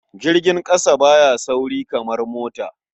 Jirgin ƙasa ba ya sauri kamar mota.